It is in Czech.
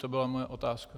To byla moje otázka.